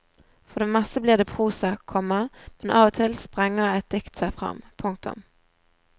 For det meste blir det prosa, komma men av og til sprenger et dikt seg fram. punktum